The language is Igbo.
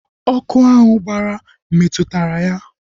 Ọkụ ahụ gbara metụtara ya